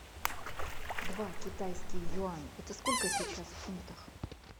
два китайский юань это сколько сейчас в фунтах